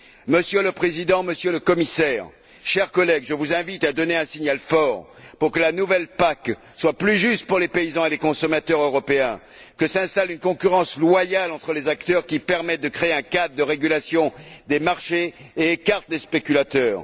Monsieur le Président, Monsieur le Commissaire, chers collègues, je vous invite à donner un signal fort pour que la nouvelle PAC soit plus juste pour les paysans et les consommateurs européens, pour que s'installe une concurrence loyale entre les acteurs qui permette de créer un cadre de régulation des marchés et écarte les spéculateurs.